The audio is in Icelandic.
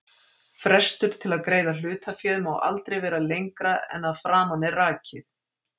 Frestur til að greiða hlutaféð má aldrei vera lengra en að framan er rakið.